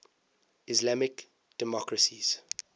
islamic democracies